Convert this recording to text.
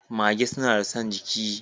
Magee suna da son giki.